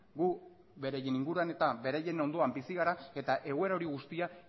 gu beraien inguruan eta beraien ondoan bizi gara eta egoera hori guztia